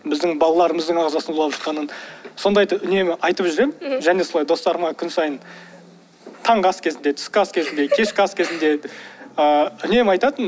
біздің балаларымыздың ағзасын улап жатқанын сондайды үнемі айтып жүремін және солай достарыма күн сайын таңғы ас кезінде түскі ас кезінде кешкі ас кезінде ыыы үнемі айтатыным